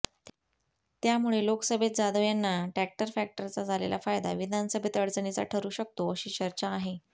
त्यामुळे लोकसभेत जाधव यांना टॅक्टर फॅक्टरचा झालेला फायदा विधानसभेत अडचणीचा ठरू शकतो अशी चर्चा आहे